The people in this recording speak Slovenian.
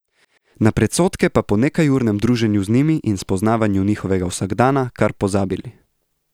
Na predsodke pa po nekajurnem druženju z njimi in spoznavanju njihovega vsakdana kar pozabili.